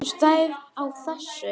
Hvernig stæði á þessu?